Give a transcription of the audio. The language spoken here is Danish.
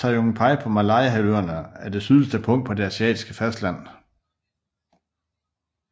Tanjung Piai på Malayahalvøen er det sydligste punkt på det asiatiske fastland